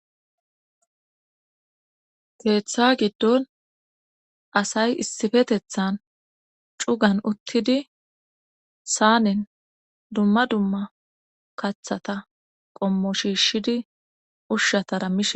Keetha giddon asay issifetethan cugan uttidi saanen dumma dumma kathata qommo shiishidi ushshatara mihe.